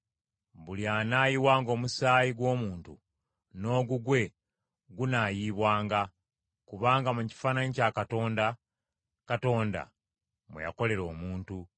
“Buli anaayiwanga omusaayi gw’omuntu, n’ogugwe gunaayiibwanga, kubanga mu kifaananyi kya Katonda, Katonda mwe yakolera omuntu.